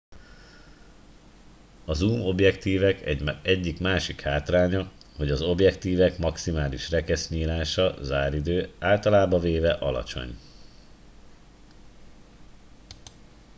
a zoom objektívek egyik másik hátránya hogy az objektívek maximális rekesznyílása záridő általában véve alacsony